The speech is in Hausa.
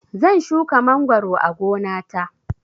Zan shuka mangoro a gona ta